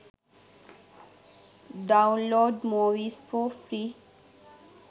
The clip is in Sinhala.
download movies for free